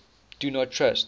do not trust